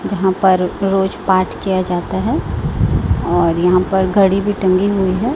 जहां पर रोज पाठ किया जाता हैं और यहां पर घड़ी भी टंगी हुई है।